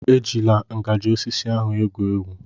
E jila ngajị osisi ahụ egwu egwu.